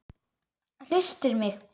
Hristir mig.